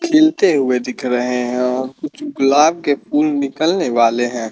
खिलते हुए दिख रहें हैं और कुछ गुलाब के फूल निकलने वाले हैं।